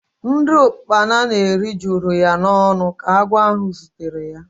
Nri ukpana na-eri juru ya n'ọnụ ka agwọ ahụ zutere ya.